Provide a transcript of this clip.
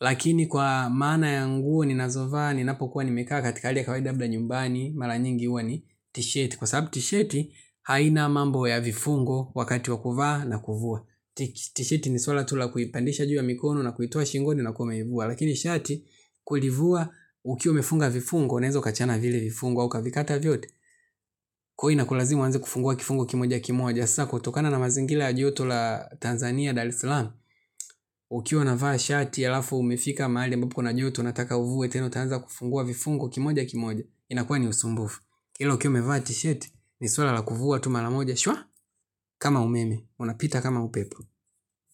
Lakini kwa maana ya nguo, ninazovaa, ninapo kuwa nimekaa katika hali ya kawaida abda nyumbani, mala nyingi uwa ni tisheti. Kwa sababu tishiti, haina mambo ya vifungo wakati wakuvaa na kuvua. Tishiti ni swala tula kuipandisha juu ya mikono na kuitua shingoni na kuwa umeivua. Lakini shati, kulivua, ukiwe umefunga vifungo, nezo kachana vile vifungo, kwa ukavikata vyote, kuhu inakulazimu anze kufungua kifungua kimoja kimoja. Sako, tokana na mazingile ajoto la Tanzania Dar eslam. Ukiwa na vahashati ya lafu umifika mahali mbako kuna ajoto. Unataka uvuwe tenu tanza kufungua vifungu kimoja kimoja. Inakua ni usumbufu. Kilo kiume vahatisheti, nisuala la kufuwa tumala moja. Shwa, kama umeme, unapita kama upepu.